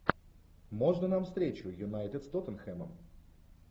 можно нам встречу юнайтед с тоттенхэмом